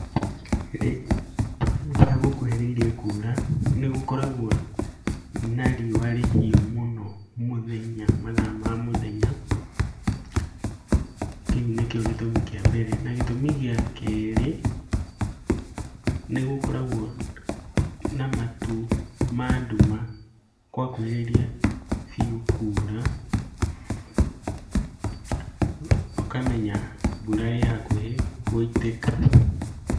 Rĩrĩa gũkuhĩrĩirie kuura nĩgũkoragwo na riũa rĩhiũ mũno mũthenya, mathaa ma mũthenya. Kĩu nĩkĩo gĩtũmi kĩa mbere. Nagĩtũmi gĩa kerĩ, nĩgũkoragwo na matu ma nduma kwakuhĩrĩria biũ kuura, ũkamenya mbura ĩ hakuhĩ gũitĩka.